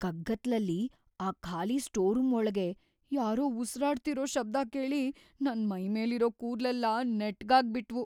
ಕಗ್ಗತ್ಲಲ್ಲಿ ಆ ಖಾಲಿ store room ಒಳ್ಗೆ ಯಾರೋ ಉಸಿರಾಡ್ತಿರೋ ಶಬ್ದ ಕೇಳಿ ನನ್ ಮೈಮೇಲಿರೋ ಕೂದ್ಲೆಲ್ಲ ನೆಟ್ಗಾಗ್‌ ಬಿಟ್ವು.